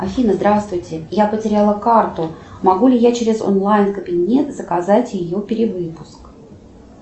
афина здравствуйте я потеряла карту могу ли я через онлайн кабинет заказать ее перевыпуск